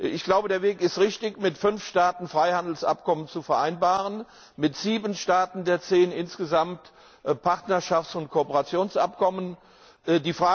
Ich glaube, der Weg ist richtig, mit fünf Staaten Freihandelsabkommen zu vereinbaren, mit sieben der insgesamt zehn Staaten Partnerschafts und Kooperationsabkommen zu schließen.